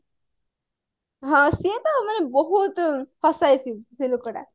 ହଁ ସିଏ ତ ମାନେ ବହୁତ ହସାଏ ସେ ଲୋକଟା